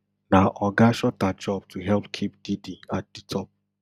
na oga shuter job to help keep diddy at di top